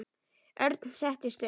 Örn settist upp.